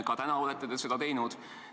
Ka täna te olete seda teinud.